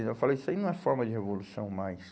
Então eu falo, isso aí não é forma de revolução mais.